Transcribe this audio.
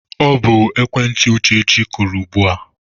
Ọ bụ foonu Uchechi kụrụ ugbua